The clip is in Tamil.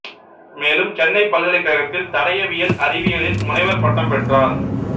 மேலும் சென்னைப் பல்கலைக்கழகத்தில் தடயவியல் அறிவியலில் முனைவர் பட்டம் பெற்றார்